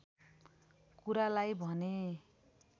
कुरालाई भने